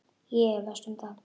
Ég efast um það.